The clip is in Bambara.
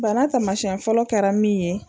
Bana tamasɛn fɔlɔ kɛra min ye